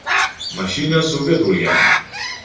Mashina suvga to‘lgan.